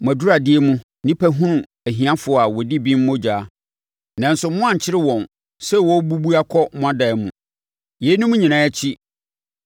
Mo aduradeɛ mu, nnipa hunu ahiafoɔ a wɔdi bem mogya, nanso moankyere wɔn sɛ wɔrebubu akɔ mo dan mu. Yeinom nyinaa akyi